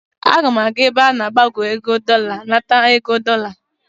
Aga m aga bureau de change echi jee nata ụfọdụ dollar.